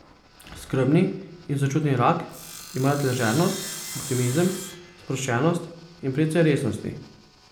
Skrbni in sočutni rak ima rad ležernost, optimizem, sproščenost in precej resnosti.